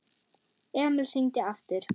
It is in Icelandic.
Emil hringdi aftur.